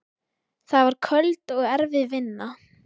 Það var köld og erfið vinna.